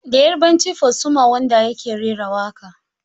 Da yarbanci Fasuma Wonder yake rera waƙa.